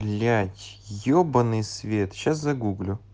блять ебанный свет сейчас загуглю